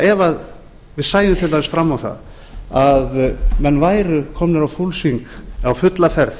ef við sæjum til dæmis fram á að við værum komnir á fulla ferð